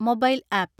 mobile app